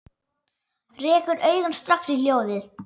Rekur augun strax í hjólið.